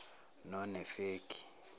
nonefegi